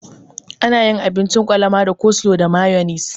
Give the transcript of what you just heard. Ana yin abincin kwalama da coslo da mayonis.